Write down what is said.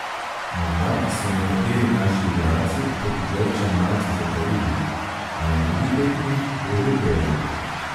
Morda so nekateri naši igralci proti Grčiji malce zatajili, a na drugi tekmi bo že bolje.